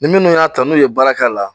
Ni minnu y'a ta n'u ye baara k'a la